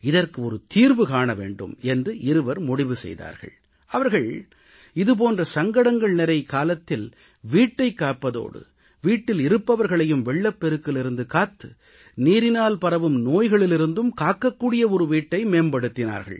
இதற்கு ஒரு தீர்வு காண வேண்டும் என்று இருவர் முடிவு செய்தார்கள் அவர்கள் இது போன்ற சங்கடங்கள் நிறை காலத்தில் வீட்டைக் காப்பதோடு வீட்டில் இருப்பவர்களையும் வெள்ளப்பெருக்கிலிருந்து காத்து நீரினால் பரவும் நோய்களிலிருந்தும் காக்கக் கூடிய ஒரு வீட்டை மேம்படுத்தினார்கள்